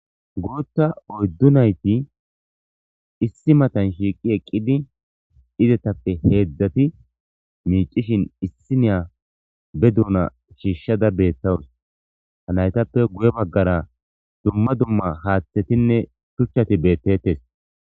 Guutta oyddu nayti issi matan shiiqi eqqidi izetappe heedzdzati miicishin issi niya be duuna shiishshada beethtawus ha naytappe guye baggara dumma dumma haaththetinne shuchchati beettettes.